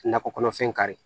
Nakɔ kɔnɔfɛn kari